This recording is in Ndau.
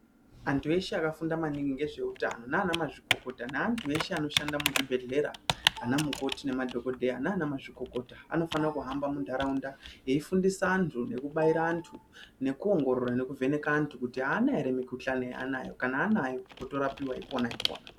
Antu eshe akafunda maningi ngezveutano naana mazvikokota neantu eshe anoshanda muzvibhedhlera ana mukoti nemadhokodheya naana mazvikokota anofana kuhamba mundaraunda eifundisa antu nekubaira antu nekuongorora nekuvheneka antu kuti aana here mikhuhlanj yaanayo kana anayo otorapiwa ipona ipona.